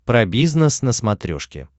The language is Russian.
про бизнес на смотрешке